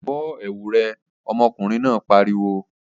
Bọ́ ẹ̀wu rẹ! ọmọkùnrin náà pariwo!